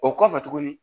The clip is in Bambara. O kɔfɛ tuguni